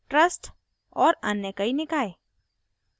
trust और अन्य कई निकाय